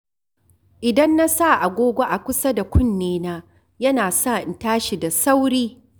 Idan na sa agogo a kusa da kunnena, yana sa in tashi da sauri.